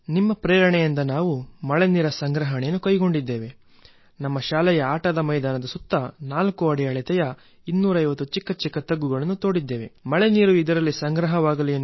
ನಿಮ್ಮಿಂದ ಪ್ರೇರಣೆ ಪಡೆದು ನಮ್ಮ ಶಾಲೆಯಲ್ಲಿ ಮುಂಗಾರು ಆರಂಭಕ್ಕೂ ಮುನ್ನ ನಾವು ಆಟದ ಮೈದಾನದ ಇಕ್ಕೆಲದಲ್ಲೂ 250 ಚಿಕ್ಕ ಚಿಕ್ಕ ಹೊಂಡ ತೆಗೆದೆವು ಅವು 4 ಅಡಿ ಮಾತ್ರ ಆಳ ಇತ್ತು